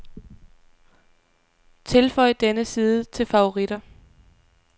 Tilføj denne side til favoritter.